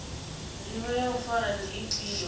ndivho ya u fara ndi ifhio